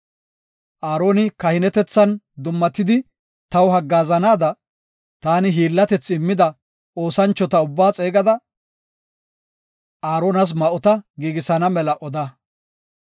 Aaroni kahinetethan dummatidi taw haggaazanaada, taani hiillatethi immida oosanchota ubbaa xeegada, Aaronas ma7ota giigisana mela oda.